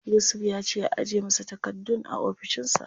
Yusuf ya ce a ajiye masa takardun a ofishin sa.